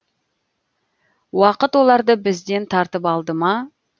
уақыт оларды бізден тартып алды ма